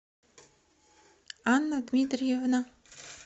анна дмитриевна